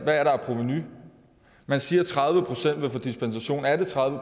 der af provenu man siger at tredive procent vil få dispensation er det tredive